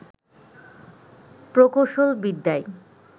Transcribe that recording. প্রকৌশল বিদ্যায়